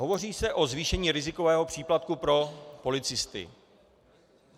Hovoří se o zvýšení rizikového příplatku pro policisty.